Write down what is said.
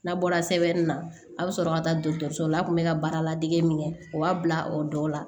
N'a bɔra sɛbɛnni na a bɛ sɔrɔ ka taa dɔgɔtɔrɔso la a tun bɛ ka baara ladege min kɛ o b'a bila o dɔw la